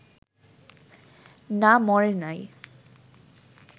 না মরে নাই